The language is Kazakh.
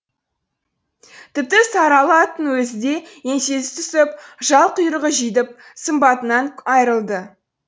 тіпті сарыала аттың өзі де еңсесі түсіп жал құйрығы жидіп сымбатынан айырылды